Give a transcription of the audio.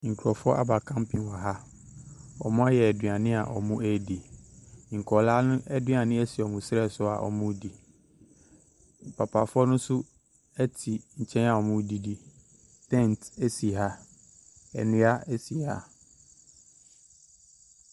Abaayewa bi redi asa wɔ dwumadie bi ase. Abranteɛ bi nso de twene ahyɛ ne nan ntam a ɔrebɔ. Abaayewa no so biribi wɔ ti so te sɛ kora, ɔde ntoma na atwa ne mu. Ɔhyɛ koom adeɛ.